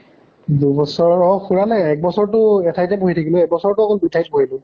দুই বছৰ অ হোৱা নাই এক বছৰ টো এঠাইতে বহি থাকিলো, এক বছৰ টো অকল দুই ঠাইত বহিলো।